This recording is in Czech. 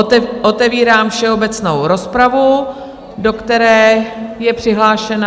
Otevírám všeobecnou rozpravu, do které je přihlášena...